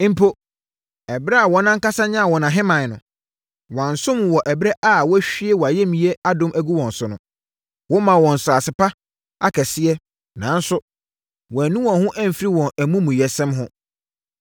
Mpo, ɛberɛ a wɔn ankasa nyaa wɔn ahemman no, wɔansom wo wɔ ɛberɛ a woahwie wʼayamyɛ adom agu wɔn so no. Womaa wɔn nsase pa akɛseɛ nanso, wɔannu wɔn ho amfiri wɔn amumuyɛsɛm ho.